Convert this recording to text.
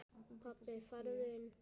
Pabbi farðu inn!